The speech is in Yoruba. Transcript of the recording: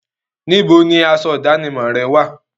Níbo ni asọ ìdánimọ̀ rẹ wà?